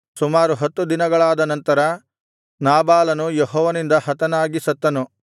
ಸುಮಾರು ಹತ್ತು ದಿನಗಳಾದನಂತರ ನಾಬಾಲನು ಯೆಹೋವನಿಂದ ಹತನಾಗಿ ಸತ್ತನು